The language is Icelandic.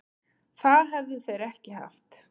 Það hefðu þeir ekki haft